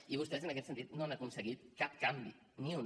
i vostès en aquest sentit no han aconseguit cap canvi ni un